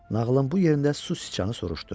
Nağılın bu yerində su siçanı soruşdu.